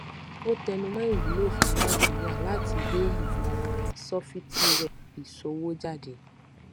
ó tẹnu mọ ìwúlò fún nàìjíríà láti gbé ìmọ orin sọfítíwẹ ìṣòwò jáde